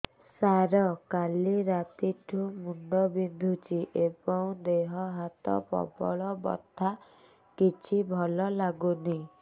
ସାର କାଲି ରାତିଠୁ ମୁଣ୍ଡ ବିନ୍ଧୁଛି ଏବଂ ଦେହ ହାତ ପ୍ରବଳ ବଥା କିଛି ଭଲ ଲାଗୁନି